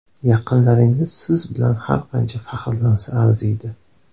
Yaqinlaringiz siz bilan har qancha faxrlansa arziydi.